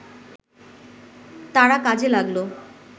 তারা কাজে লাগল